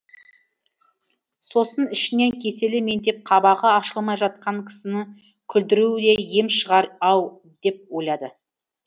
сосын ішінен кеселі меңдеп қабағы ашылмай жатқан кісіні күлдіру де ем шығар ау деп ойлады